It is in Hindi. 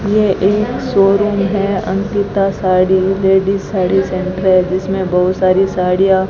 यह एक शोरूम है अंकिता साड़ी लेडीज साड़ी सेंटर जिसमें बहुत सारी साड़ियां --